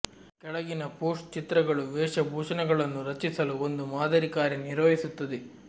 ಕೆಳಗಿನ ಪೋಸ್ಟ್ ಚಿತ್ರಗಳು ವೇಷಭೂಷಣಗಳನ್ನು ರಚಿಸಲು ಒಂದು ಮಾದರಿ ಕಾರ್ಯ ನಿರ್ವಹಿಸುತ್ತದೆ